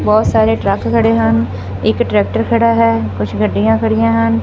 ਬਹੁਤ ਸਾਰੇ ਟਰੱਕ ਖੜੇ ਹਨ ਇੱਕ ਟਰੈਕਟਰ ਖੜਾ ਹੈ ਕੁਛ ਗੱਡੀਆਂ ਖੜੀਆਂ ਹਨ।